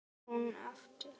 spyr hún aftur.